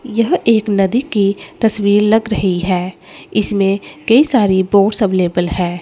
यह एक नदी की तस्वीर लग रही हैं इसमें कई सारी बोट्स अवेलेबल है।